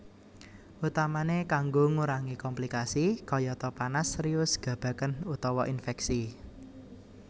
Utamane kanggo ngurangi komplikasi kayata panas serius gabagen utawa infeksi